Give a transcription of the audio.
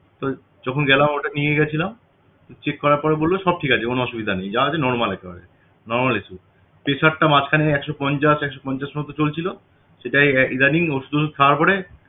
তো যখন গেলাম ওটাকে নিয়ে গেছিলাম তো check করার পর বললো সব ঠিক আছে কোন অসুবিধা নেই যা আছে normal একেবারে normalpressure টা মাঝখানে একশো পঞ্চাশ একশো পঞ্চাশ পর্যন্ত চলছিল সেটা ইদানিং ওষুধ টষুধ খাওয়ার পরে